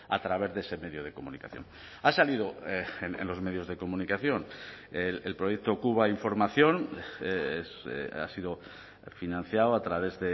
a través de ese medio de comunicación ha salido en los medios de comunicación el proyecto cuba información ha sido financiado a través